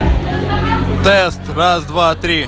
тест раз два три